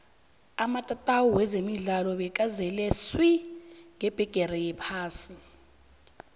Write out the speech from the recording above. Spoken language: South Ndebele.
amatatawu wezemidlalo bekazele swi ngebhigiri yephasi ka